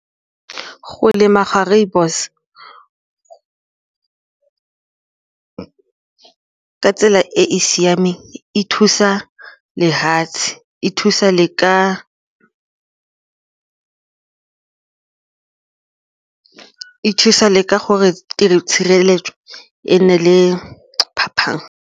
Go lema ga rooibos ka tsela e e siameng e thusa lefatshe, e thusa le ka gore tshireletso e nne le phapang.